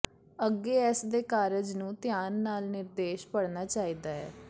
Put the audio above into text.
ਅੱਗੇ ਇਸ ਦੇ ਕਾਰਜ ਨੂੰ ਧਿਆਨ ਨਾਲ ਨਿਰਦੇਸ਼ ਪੜ੍ਹਨਾ ਚਾਹੀਦਾ ਹੈ